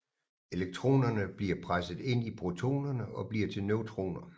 Elektronerne bliver presset ind i protonerne og bliver til neutroner